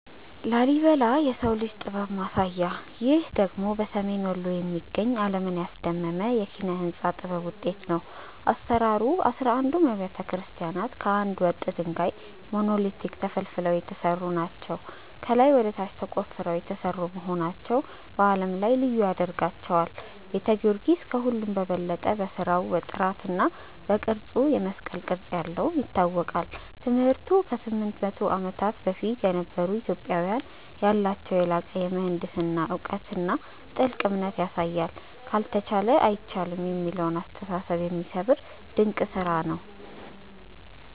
ላሊበላ (Lalibela) - "የሰው ልጅ ጥበብ ማሳያ" ይህ ደግሞ በሰሜን ወሎ የሚገኝ፣ ዓለምን ያስደመመ የኪነ-ሕንጻ ጥበብ ውጤት ነው። አሰራሩ፦ አሥራ አንዱም አብያተ ክርስቲያናት ከአንድ ወጥ ድንጋይ (Monolithic) ተፈልፍለው የተሰሩ ናቸው። ከላይ ወደ ታች ተቆፍረው የተሰሩ መሆናቸው በዓለም ላይ ልዩ ያደርጋቸዋል። ቤተ ጊዮርጊስ፦ ከሁሉም በበለጠ በሥራው ጥራትና በቅርጹ (የመስቀል ቅርጽ ያለው) ይታወቃል። ትምህርቱ፦ ከ800 ዓመታት በፊት የነበሩ ኢትዮጵያውያን ያላቸውን የላቀ የምህንድስና እውቀትና ጥልቅ እምነት ያሳያል። "ካልተቻለ አይቻልም" የሚለውን አስተሳሰብ የሚሰብር ድንቅ ስራ ነው።